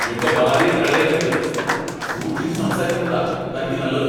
എന്റെ ഭാര്യയെ കളിയാക്കരുത്! സൂക്ഷിച്ച് സംസാരിക്കുന്നതാ തനിക്ക് നല്ലത് !